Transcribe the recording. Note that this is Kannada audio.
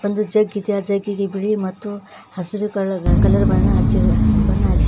ಒಂದು ಜಗ್ ಇದೆ ಆ ಜಗ್ ಗೆ ಬಿಳಿ ಮತ್ತು ಹಸಿರು ಕಲರ್ ಬಣ್ಣ ಹಚ್ಚಿ ಬಣ್ಣ ಹಚ್ಚಿ --